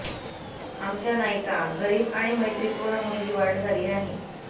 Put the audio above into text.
आमच्या नायिका गरीब आणि मैत्रीपूर्ण मुलगी वाढ झाली आहे